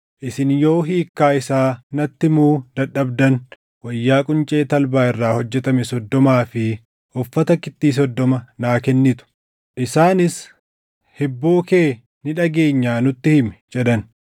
Isin yoo hiikkaa isaa natti himuu dadhabdan wayyaa quncee talbaa irraa hojjetame soddomaa fi uffata kittii soddoma naa kennitu.” Isaanis, “Hibboo kee ni dhageenyaa nutti hima” jedhan.